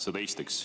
Seda esiteks.